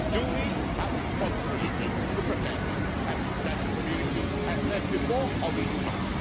Do we have a responsibility to protect, as the international community has said before, or do we not?